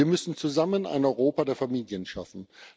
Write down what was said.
Wir müssen zusammen ein Europa der Familien schaffen.